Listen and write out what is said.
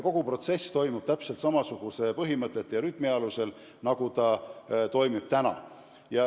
Kogu protsess toimub täpselt samasuguste põhimõtete alusel ja samasuguses rütmis, nagu see toimub täna.